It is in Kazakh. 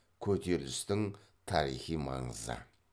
көтерілістің тарихи маңызы